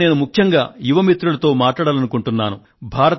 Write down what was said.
ఇవాళ నేను ముఖ్యంగా యువ మిత్రులతో మాట్లాడాలనుకుంటున్నాను